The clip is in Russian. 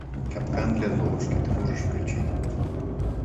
капкан для золушки ты можешь включить